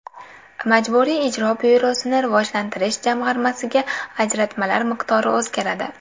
Majburiy ijro byurosini rivojlantirish jamg‘armasiga ajratmalar miqdori o‘zgaradi.